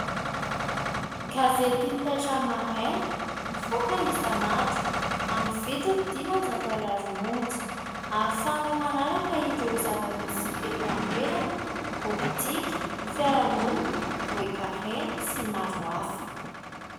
Gazety Taitra Maraina, mivoaka isan'andro amin'ny vidiny dimanjato ariary monja ; ahafahanao manaraka ireo zava-misy eto an-toerana : pôlitika, fiarahamonina, toe-karena sy maro hafa...